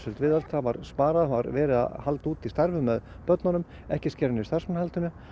viðhald það var sparað það var verið að halda úti starfi með börnunum ekki skera niður starfsmannahaldið